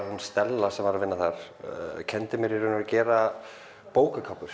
hún Stella sem var að vinna þar kenndi mér í raun og veru að gera